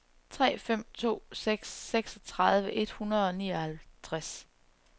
tre fem to seks seksogtredive et hundrede og nioghalvtreds